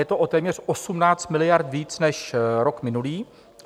Je to o téměř 18 miliard víc než rok minulý.